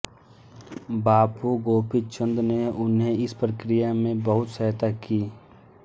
बाबू गोपी चंद ने उन्हें इस प्रक्रिया में बहुत सहायता की